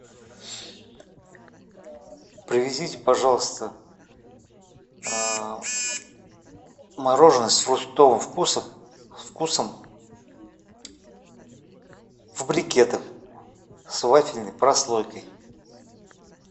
привезите пожалуйста мороженое с фруктовым вкусом в брикетах с вафельной прослойкой